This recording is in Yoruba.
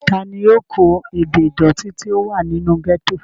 ta ni yóò kó ebè ìdòtí tí ó wà nínú gẹ́tò?